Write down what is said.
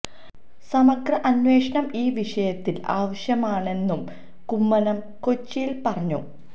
സമഗ്ര അന്വേഷണം ഈ വിഷയത്തിൽ ആവശ്യമാണെന്നും കുമ്മനം കൊച്ചിയില് പറഞ്ഞു